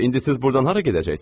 İndi siz burdan hara gedəcəksiz?